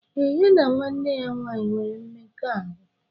Ee, ya na nwanne ya nwanyị nwere mmekọahụ.